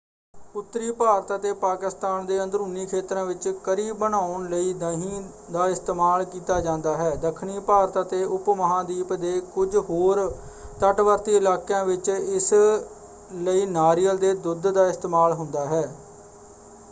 ਉੱਤਰੀ ਭਾਰਤ ਅਤੇ ਪਾਕਿਸਤਾਨ ਦੇ ਅੰਦਰੂਨੀ ਖੇਤਰਾਂ ਵਿੱਚ ਕਰੀ ਬਣਾਉਣ ਲਈ ਦਹੀਂ ਦਾ ਇਸਤੇਮਾਲ ਕੀਤਾ ਜਾਂਦਾ ਹੈ; ਦੱਖਣੀ ਭਾਰਤ ਅਤੇ ਉਪਮਹਾਂਦੀਪ ਦੇ ਕੁਝ ਹੋਰ ਤਟਵਰਤੀ ਇਲਾਕਿਆਂ ਵਿੱਚ ਇਸ ਲਈ ਨਾਰੀਅਲ ਦੇ ਦੁੱਧ ਦਾ ਇਸਤੇਮਾਲ ਹੁੰਦਾ ਹੈ।